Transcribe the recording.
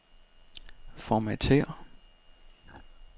Formatér.